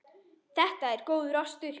Þetta er góður ostur.